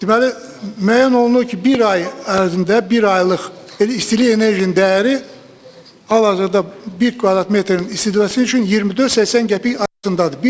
deməli, müəyyən olunur ki, bir ay ərzində, bir aylıq, elə istilik enerjinin dəyəri hal-hazırda 1 kvadrat metrin istifadəsi üçün 24-80 qəpik arasındadır.